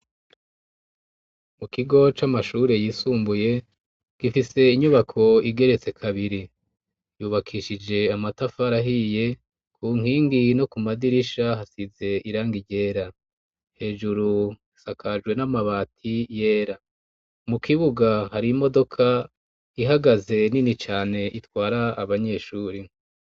Mu kigo c'amashure yisumbuye, gifise inyubako igeretse kabiri ,yubakishije amatafari ahiye ,ku nkingi no ku madirisha hasize irangi ryera, hejuru sakajwe n'amabati yera ,mu kibuga hari imodoka ihagaze nini cane itwara abanyeshuri.